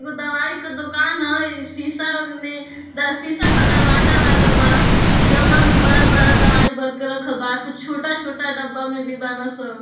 एगो दवाई का दुकान ह इ शीसा में द शीसा का दरवाजा लागल बा डब्बा में बड़ा-बड़ा दवाई भर के रखल बा कुछ छोटा-छोटा डब्बा में भी बाना सन।